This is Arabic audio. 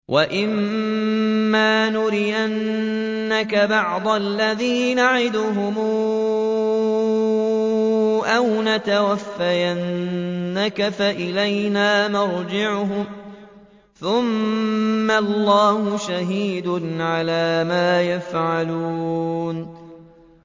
وَإِمَّا نُرِيَنَّكَ بَعْضَ الَّذِي نَعِدُهُمْ أَوْ نَتَوَفَّيَنَّكَ فَإِلَيْنَا مَرْجِعُهُمْ ثُمَّ اللَّهُ شَهِيدٌ عَلَىٰ مَا يَفْعَلُونَ